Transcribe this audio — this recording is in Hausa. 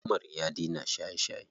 Umar ya daina shaye shaye.